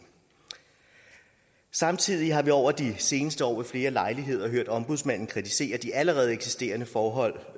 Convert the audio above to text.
samtidig har vi over de seneste år ved flere lejligheder hørt ombudsmanden kritisere de allerede eksisterende forhold